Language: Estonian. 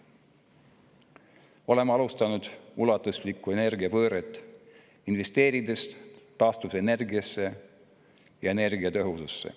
Oleme alustanud ulatuslikku energiapööret, investeerides taastuvenergiasse ja energiatõhususse.